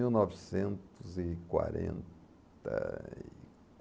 Mil novecentos e quarenta e